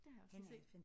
Det har jeg også lige set